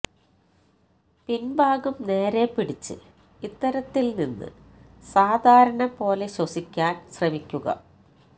പിന്ഭാഗം നേരെ പിടിച്ച് ഇത്തരത്തില് നിന്ന് സാധാരണ പോലെ ശ്വസിക്കാന് ശ്രമിക്കുക